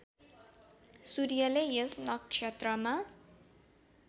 सूर्यले यस नक्षत्रमा